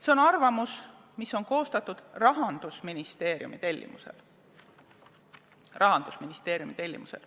See on arvamus, mis on koostatud Rahandusministeeriumi tellimusel.